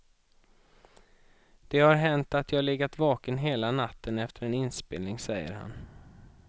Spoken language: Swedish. Det har hänt att jag legat vaken hela natten efter en inspelning, säger han.